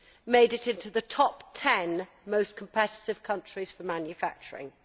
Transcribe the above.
made it into the top ten most competitive countries for manufacturing.